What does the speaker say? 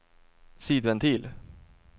sidventil